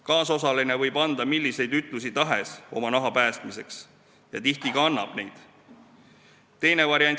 Kaasosaline võib oma naha päästmiseks anda milliseid ütlusi tahes ja tihti ka annab neid.